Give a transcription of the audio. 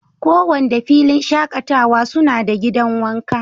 ko Wanda filin shakatawa suna da gidan wanka.